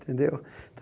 Tendeu?